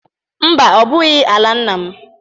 Mba, ọ bụghị ala nna m